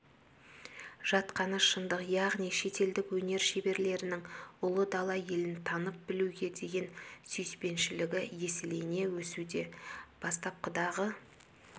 жатқаны шындық яғни шетелдік өнер шеберлерінің ұлы дала елін танып-білуге деген сүйіспеншілігі еселене өсуде бастапқыдағы